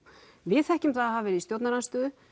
við þekkjum það að hafa verið í stjórnarandstöðu